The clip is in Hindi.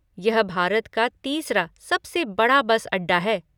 यह भारत का तीसरा सबसे बड़ा बस अड्डा है।